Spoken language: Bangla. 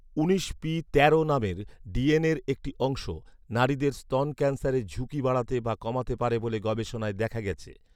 উনিশ পি তেরো নামের ডিএনএর একটি অংশ, নারীদের স্তন ক্যান্সারের ঝুঁকি বাড়াতে বা কমাতে পারে বলে গবেষণায় দেখা গেছে